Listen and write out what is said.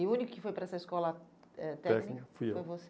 E o único que foi para essa escola eh técnica foi você? Fui eu.